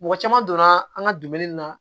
Mɔgɔ caman donna an ka dumuni na